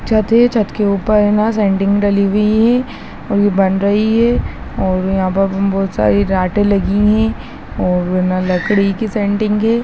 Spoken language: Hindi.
छत है छत के उपर है ना सेंटिंग डली हुई है और ये बन रही है और यहाँ पे हमें बहुत सारी लगी हुई हैं और ना लकड़ी की सेंटिंग है।